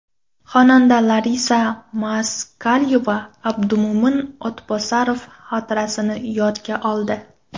Xonanda Larisa Moskalyova Abdumo‘min O‘tbosarov xotirasini yodga oldi.